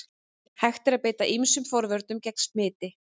Hægt er að beita ýmsum forvörnum gegn smiti.